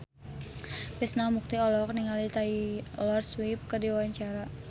Krishna Mukti olohok ningali Taylor Swift keur diwawancara